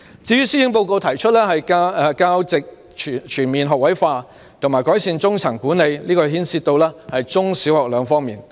施政報告提出教席全面學位化及改善中層管理，牽涉到中小學兩方面。